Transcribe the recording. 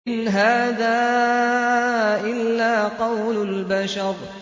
إِنْ هَٰذَا إِلَّا قَوْلُ الْبَشَرِ